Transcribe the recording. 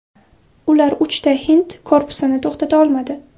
Ular uchta hind korpusini to‘xtata olmadi.